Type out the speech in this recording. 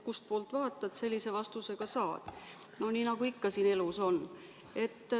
Kustpoolt vaatad, sellise vastuse ka saad, nagu ikka siin elus on.